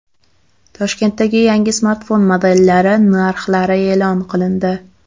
Toshkentdagi yangi smartfon modellari narxlari e’lon qilindi.